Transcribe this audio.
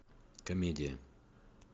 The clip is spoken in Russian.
комедия